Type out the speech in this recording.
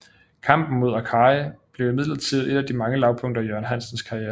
Kampen mod Arcari blev imidlertid et af de mange lavpunkter i Jørgen Hansens karriere